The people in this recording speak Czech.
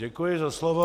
Děkuji za slovo.